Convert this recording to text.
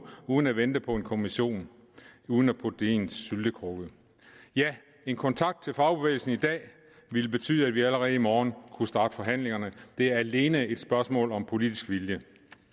uden at vente på en kommission uden at putte det ned i en syltekrukke ja en kontakt til fagbevægelsen i dag ville betyde at vi allerede i morgen kunne starte forhandlingerne det er alene et spørgsmål om politisk vilje